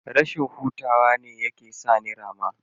Rashin hutawa ne yake sa ni rama.